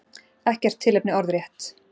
Ekkert tilefni orðrétt.